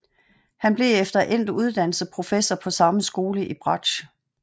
Han blev efter endt uddannelse professor på samme skole i bratsch